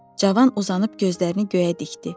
Cavan uzanıb gözlərini göyə dikdi.